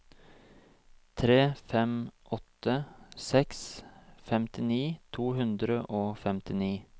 tre fem åtte seks femtini to hundre og femtini